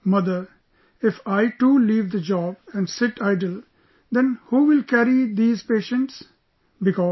I told her mother, if I too leave the job and sit idle, then who will carry these patients